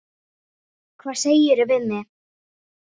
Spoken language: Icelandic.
Hvað segirðu við mig?